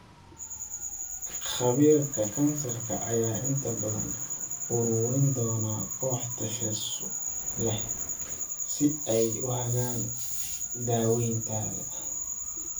Khabiirka Kansarka ayaa inta badan ururin doona koox takhasus leh si ay u hagaan daawayntaada.